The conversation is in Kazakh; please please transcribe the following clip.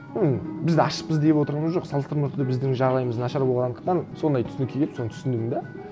ну бізді ашпыз деп отырғанымыз жоқ салыстырмалы түрде біздің жағдайымыз нашар болғандықтан сондай түсінікке келіп соны түсіндім де